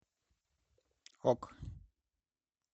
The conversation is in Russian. ок